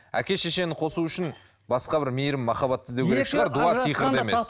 әке шешені қосу үшін басқа бір мейірім махаббат іздеу керек шығар дуа сиқырды емес